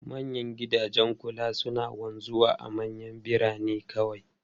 Manyan gidajen kula suna wanzuwa a manyan birane kawai.